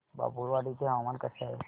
बाभुळवाडी चे हवामान कसे आहे